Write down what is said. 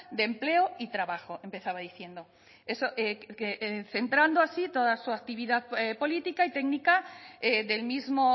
de empleo y trabajo empezaba diciendo centrando así toda su actividad política y técnica del mismo